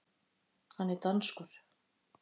Hann er danskur.